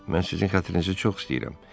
Mən sizin xətrinizi çox istəyirəm.